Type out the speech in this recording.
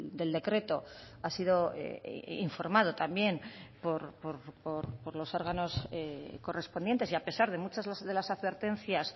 del decreto ha sido informado también por los órganos correspondientes y a pesar de muchas de las advertencias